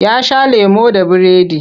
Ya sha lemo da biredi.